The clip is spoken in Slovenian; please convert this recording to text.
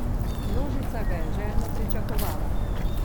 Množica ga je željno pričakovala.